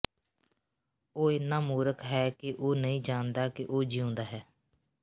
ਉਹ ਇੰਨਾ ਮੂਰਖ ਹੈ ਕਿ ਉਹ ਨਹੀਂ ਜਾਣਦਾ ਕਿ ਉਹ ਜੀਉਂਦਾ ਹੈ